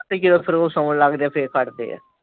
ਤੇ ਜਦੋਂ ਫਿਰ ਉਹ ਸੋਹਣ ਲੱਗਦੇ ਆ ਫਿਰ ਫੜਦੇ ਆ।